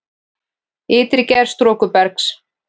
Ytri gerð storkubergs